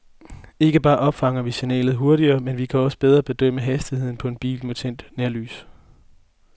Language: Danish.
Ikke bare opfanger vi signalet hurtigere, men vi kan også bedre bedømme hastigheden på en bil med tændt nærlys.